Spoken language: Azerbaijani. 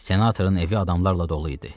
Senatorun evi adamlarla dolu idi.